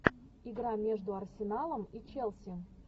игра между арсеналом и челси